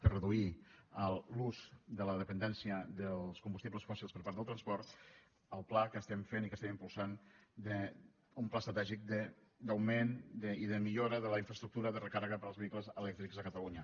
per reduir l’ús de la dependència dels combustibles fòssils per part del transport el pla que estem fent i que estem impulsant un pla estratègic d’augment i de millora de la infraestructura de recàrrega per als vehicles elèctrics a catalunya